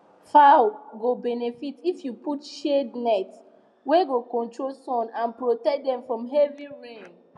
fowl go benefit if you put shade net wey go control sun and protect dem from heavy rain